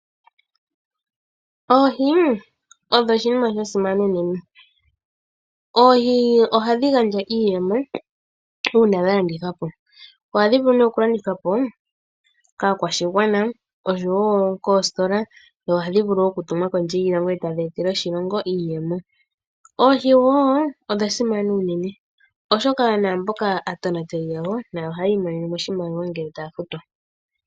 Oohi odho oshinima sha simana unene. Oohi ohadhi gandja iiyemo uuna dha landithwa po. Ohadhi vulu okulandithwa po kaakwashigwana noshowo koositola dho ohadhi vulu okutumwa kondje yiilongo e Oohi odha simana unene, oshoka aatonateli yadho nayo ohaya imonene oshimaliwa ngele taya futwa.